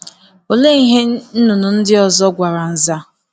Olee ihe nnụnụ ndị ọzọ gwara Nza?